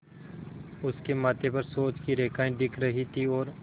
उसके माथे पर सोच की रेखाएँ दिख रही थीं और